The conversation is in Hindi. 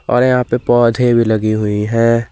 और यहां पे पौधे भी लगी हुई है।